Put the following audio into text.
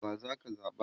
wa zaka zaɓa?